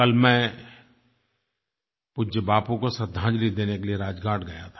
कल मैं पूज्य बापू को श्रद्धांजलि देने के लिये राजघाट गया था